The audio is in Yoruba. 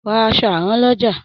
Ra aṣọ àrán lọ́jà.